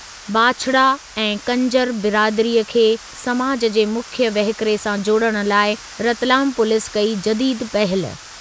बांछड़ा ऐं कंजर बिरादरीअ खे समाजु जे मुख्यु वहिकिरे सां जोड़ण लाइ रतलाम पुलीस कई जदीद पहल।